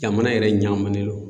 Jamana yɛrɛ ɲamunen do